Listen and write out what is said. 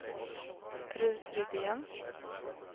Rut Rydén